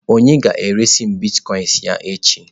Onye ga-eresi m Bitkoinsị ya n'echi?